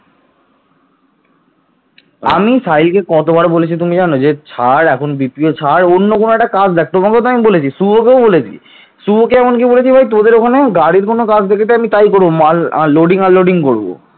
পরবর্তীতে পালগণ হিন্দুদের বৌদ্ধধর্মে আকৃষ্ট করার জন্য তান্ত্রিক বৌদ্ধ ধর্মের প্রবর্তন করেন